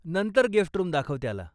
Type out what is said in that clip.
नंतर guest room दाखव त्याला.